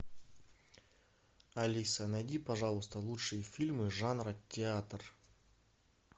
алиса найди пожалуйста лучшие фильмы жанра театр